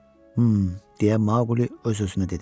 Mhm, - deyə Maqli öz-özünə dedi.